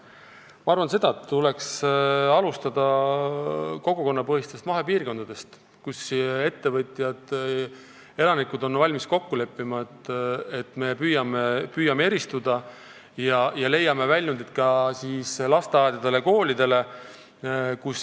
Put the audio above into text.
Ma arvan, et tuleks alustada kogukonnapõhistest mahepiirkondadest, kus ettevõtjad ja elanikud on valmis kokku leppima, et nad püüavad eristuda ja leida väljundeid ka lasteaedadele ja koolidele.